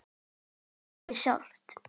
Hann er lífið sjálft.